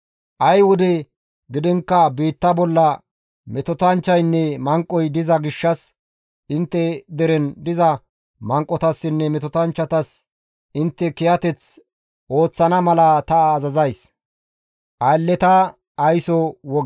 Ay wode gidiinkka biitta bolla metotanchchaynne manqoy diza gishshas intte deren diza manqotassinne metotanchchatas intte kiyateth ooththana mala ta azazays.